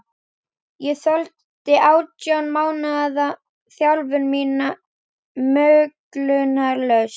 Ég þoldi átján mánaða þjálfun mína möglunarlaust.